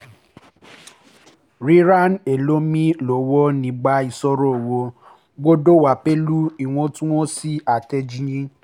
ìṣòro oníṣòwò ni yíyan ibi tó yẹ ká forí lé lórí ewu àti ọgbọ́n owó